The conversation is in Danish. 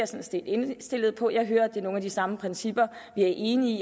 set indstillet på jeg hører at det er nogle af de samme principper vi er enige